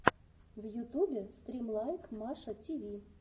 в ютюбе стрим лайк маша тиви